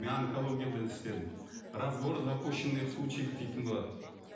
мен онкологияда да істедім разбор запущенных случаев дейтін болады